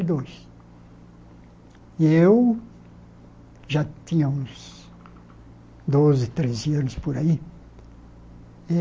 dois eu já tinha uns doze, treze anos por aí.